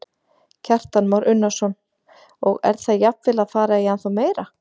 Kristján Már Unnarsson: Og er það jafnvel að fara í ennþá meira?